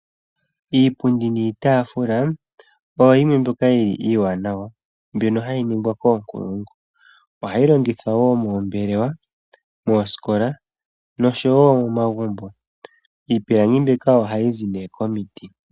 Iipundi niitaafula oyo yimwe mboka yili iiwanawa mbyono hayi ningwa koonkulungu. Ohayi longithwa woo moombelewa, moosikola, nosho woo momagumbo. Iipilangi mbika ohayi zi nee komiti.